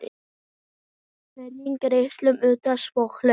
Hvernig geturðu útskýrt svona hluti?